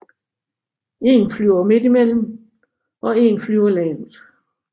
En flyver midt i mellem og en flyver lavt